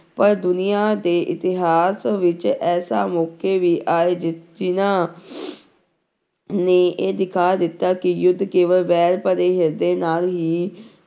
ਪਰ ਦੁਨੀਆਂ ਦੇ ਇਤਿਹਾਸ ਵਿੱਚ ਐਸਾ ਮੌਕੇ ਵੀ ਆਏ ਜਿ ਜਿਹਨਾਂ ਨੇ ਇਹ ਦਿਖਾ ਦਿੱਤਾ ਕਿ ਯੁੱਧ ਕੇਵਲ ਵੈਰ ਭਰੇ ਹਿਰਦੇ ਨਾਲ ਹੀ